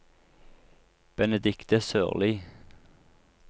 Benedicte Sørli